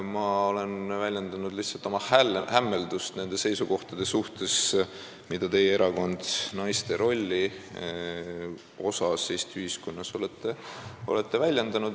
Ma olen lihtsalt väljendanud oma hämmeldust nende seisukohtade suhtes, mida teie erakond on naiste rolli kohta Eesti ühiskonnas väljendanud.